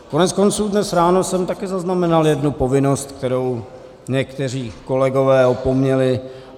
Koneckonců dnes ráno jsem taky zaznamenal jednu povinnost, kterou někteří kolegové opomněli.